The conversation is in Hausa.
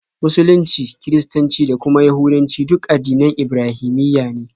Musulunci, Kiristanci, da kuma Yahudancu duk addinan Ibrahimiyya ne.